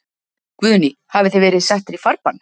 Guðný: Hafið þið verið settir í farbann?